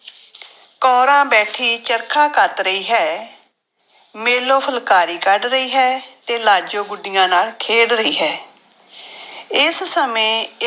ਕੋਰਾਂ ਬੈਠੀ ਚਰਖਾ ਕੱਤ ਰਹੀ ਹੈ, ਮੇਲੋ ਫੁਲਕਾਰੀ ਕੱਢ ਰਹੀ ਹੈ ਤੇ ਲਾਜੋ ਗੁੱਡੀਆਂ ਨਾਲ ਖੇਡ ਰਹੀ ਹੈ ਇਸ ਸਮੇਂ